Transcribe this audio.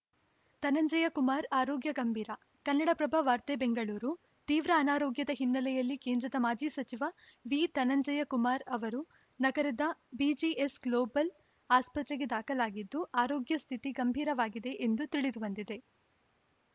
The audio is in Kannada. ಧನಂಜಯ ಕುಮಾರ್‌ ಆರೋಗ್ಯ ಗಂಭೀರ ಕನ್ನಡಪ್ರಭ ವಾರ್ತೆ ಬೆಂಗಳೂರು ತೀವ್ರ ಅನಾರೋಗ್ಯದ ಹಿನ್ನೆಲೆಯಲ್ಲಿ ಕೇಂದ್ರದ ಮಾಜಿ ಸಚಿವ ವಿ ಧನಂಜಯಕುಮಾರ್‌ ಅವರು ನಗರದ ಬಿಜಿಎಸ್‌ ಗ್ಲೋಬಲ್‌ ಆಸ್ಪತ್ರೆಗೆ ದಾಖಲಾಗಿದ್ದು ಆರೋಗ್ಯ ಸ್ಥಿತಿ ಗಂಭೀರವಾಗಿದೆ ಎಂದು ತಿಳಿದುಬಂದಿದೆ